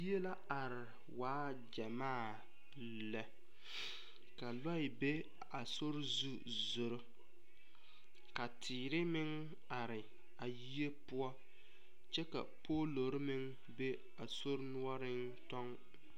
Yie la are waa gyamaa lɛ ka lɔɛ be a sori zu zoro ka tèère meŋ are a yie poɔ kyɛ ka poolori meŋ be a sori nuoriŋ tɔŋ.